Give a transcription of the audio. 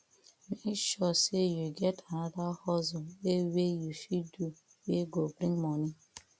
mek sure sey yu get anoda hustle wey wey yu fit do wey go bring moni